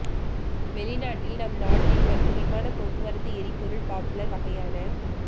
வெளிநாட்டில் நம் நாட்டில் மற்றும் விமான போக்குவரத்து எரிபொருள் பாப்புலர் வகையான